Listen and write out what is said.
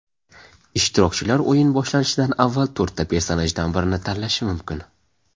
Ishtirokchilar o‘yin boshlanishidan avval to‘rtta personajdan birini tanlashi mumkin.